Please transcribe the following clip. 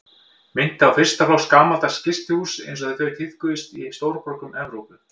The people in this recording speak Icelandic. Minnti á fyrsta flokks gamaldags gistihús einsog þau tíðkuðust í stórborgum Evrópu.